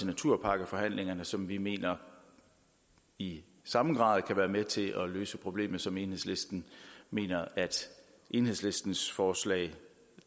naturpakkeforhandlingerne som vi mener i samme grad kan være med til at løse problemet som enhedslisten mener at enhedslistens forslag